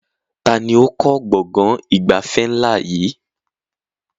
Taàní ó kọ́ gbọ̀ngàn ìgbafẹ́ ńlá yìí?